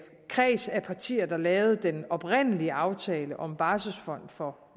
kreds af partier der lavede den oprindelige aftale om en barselsfond for